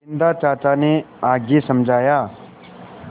बिन्दा चाचा ने आगे समझाया